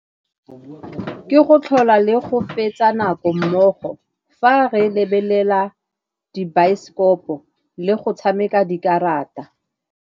Ke go tlhola le go fetsa nako mmogo, fa re lebelela dibaesekopo le go tshameka dikarata.